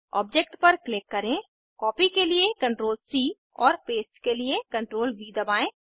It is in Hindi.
ऑब्जेक्ट पर क्लिक करें कॉपी के लिए CTRLC और पेस्ट के लिए CTRLV दबाएं